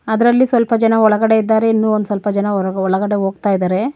ಅದರಲ್ಲಿ ಸ್ವಲ್ಪ ಜನ ಒಳಗಡೆ ಇದ್ದಾರೆ ಇನ್ನು ಒಂದ್ ಸ್ವಲ್ಪ ಜನ ಒಳಗಡೆ ಹೋಗ್ತಾ ಇದ್ದಾರೆ.